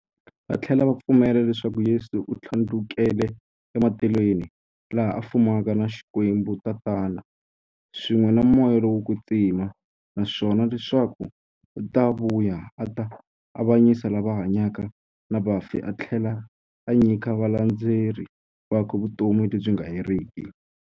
Vathlela va pfumela leswaku Yesu u thlandlukele e matilweni, laha a fumaka na Xikwembu-Tatana, swin'we na Moya lowo kwetsima, naswona leswaku u ta vuya a ta avanyisa lava hanyaka na vafi athlela a nyika valandzeri vakwe vutomi lebyi nga heriki.